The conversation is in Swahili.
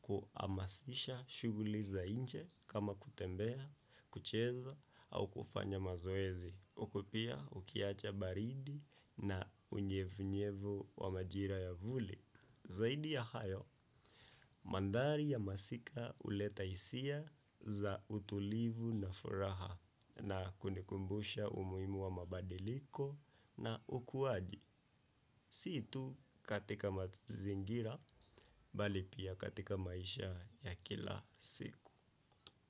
kuhamasisha shuguli za inje kama kutembea, kucheza au kufanya mazoezi. Uko pia ukiacha baridi na unyevunyevu wa majira ya vuli. Zaidi ya hayo, mandhari ya masika uleta hisia za utulivu na furaha. Na kuni kumbusha umuhimu wa mabadiliko na ukuaji. Si tu katika mazingira, bali pia katika maisha ya kila siku.